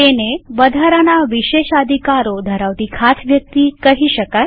તેને વધારાના વિશેષાધિકારો ધરાવતી ખાસ વ્યક્તિ કહી શકાય